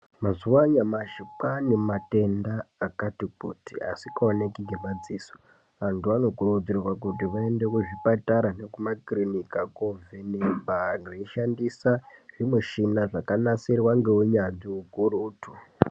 Mazuva anyamashi kwane matenda akati kuti asingaonekwi nge madziso antu anokurudzirwa kuti aende kuchipatara neku makirinika kuno vhenekwa veishandisa zvimishina zvakanasirwa ngeunyanzvi hukurutu .